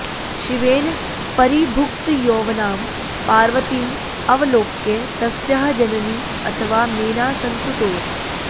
शिवेन परिभुक्तयौवनां पार्वतीं अवलोक्य तस्याः जननी अथवा मेना संतुतोष